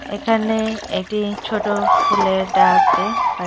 এখানে এটি ছোট ফুলের ডাকে-এ পা--